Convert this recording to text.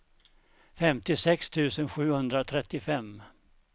femtiosex tusen sjuhundratrettiofem